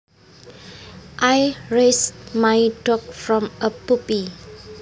I raised my dog from a puppy